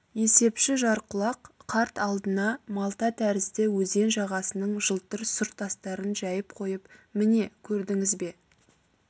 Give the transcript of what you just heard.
есепші жарқұлақ қарт алдына малта тәрізді өзен жағасының жылтыр сұр тастарын жәйіп қойып міне көрдіңіз бе